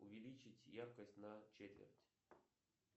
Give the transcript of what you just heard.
увеличить яркость на четверть